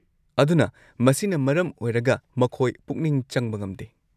ꯑꯗꯨꯅ ꯃꯁꯤꯅ ꯃꯔꯝ ꯑꯣꯏꯔꯒ ꯃꯈꯣꯏ ꯄꯨꯛꯅꯤꯡ ꯆꯪꯕ ꯉꯝꯗꯦ꯫